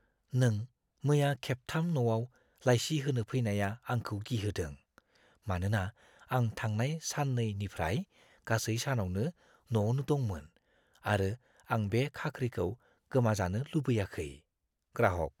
नों मैया खेबथाम न'आव लाइसि होनो फैनाया आंखौ गिहोदों, मानोना आं थांनाय सान 2 निफ्राय गासै सानावनो न'आवनो दंमोन आरो आं बे खाख्रिखौ गोमाजानो लुबैयाखै। (ग्राहक)